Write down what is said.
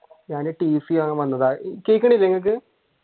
ഞാൻ tc വാങ്ങാൻ വന്നതാ കേൾക്കുന്നില്ലേ നിങ്ങൾക്ക്?